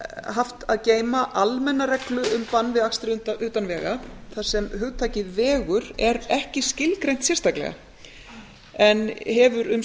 haft að geyma almenna reglu um bann við akstri utan vega þar sem hugtakið vegur er ekki skilgreint sérstaklega en hefur um